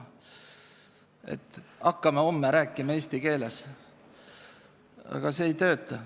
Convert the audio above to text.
Aga kordamine, et hakkame homme rääkima eesti keeles, ei tööta.